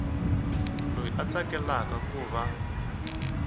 loyi a tsakelaka ku va